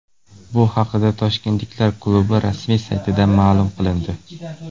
Bu haqida toshkentliklar klubi rasmiy saytida ma’lum qilindi .